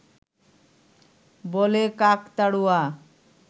বলে কাকতাড়ুয়া